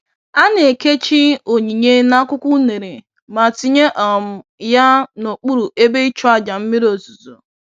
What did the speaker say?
A na-ekechi onyinye n'akwụkwọ unere ma tinye um ya n'okpuru ebe ịchụàjà mmiri ozuzo.